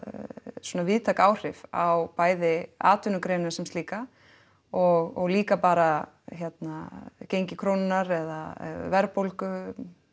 svona víðtæk áhrif á bæði atvinnugreinin sem slíka og líka bara hérna gengi krónunnar eða verðbólgu